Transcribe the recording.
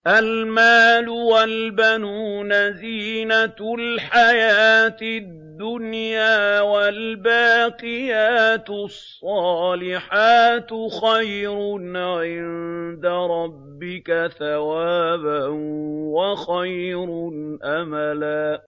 الْمَالُ وَالْبَنُونَ زِينَةُ الْحَيَاةِ الدُّنْيَا ۖ وَالْبَاقِيَاتُ الصَّالِحَاتُ خَيْرٌ عِندَ رَبِّكَ ثَوَابًا وَخَيْرٌ أَمَلًا